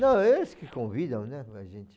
Não, eles que convidam, né, a gente